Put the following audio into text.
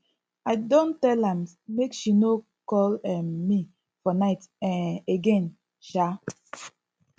i don tell am make she no call um me for night um again um